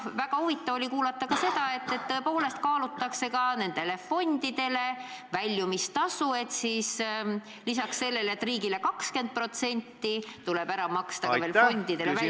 Ja väga huvitav oli kuulata ka seda, et tõepoolest kaalutakse ka nendele fondidele makstavat väljumistasu: lisaks sellele, et riigile tuleb loovutada 20%, tuleb maksta ka fondidele minevat väljumistasu ...